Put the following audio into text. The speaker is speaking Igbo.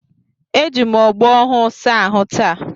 Eji m ogbo ọhụụ saa ahụ taata